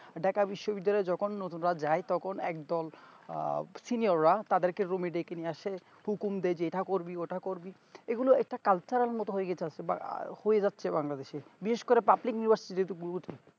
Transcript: ঢাকা বিশ্ব বিদ্যালয়ে যেকোন নতুনরা যাই তখন একদল আহ senior রা তাদেরকে room এ ডেকে নিয়ে আসে হুকুম দেয় এটা করবি ওটা করবি এগুলো একটা কালচারের মতো হয়ে গেছে আস্তে বা হয়ে যাচ্ছে bangladesh এ বিশেষ করে public ব্যাবস্থা গুরুত্ব